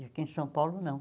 E aqui em São Paulo, não.